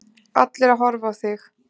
Allir að horfa á þig.